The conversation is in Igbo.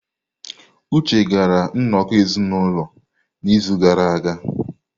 Uche gara nnọkọ ezinụlọ n'izu gara aga.